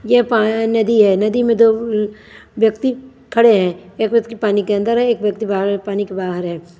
यह प नदी है नदी में दो व्यक्ति खड़े हैं एक व्यक्ति पानी के अंदर है एक व्यक्ति बाहर पानी के बाहर है।